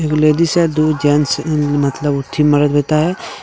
दो लेडीज है दो जेंट्स मतलब उठी मरद देता है।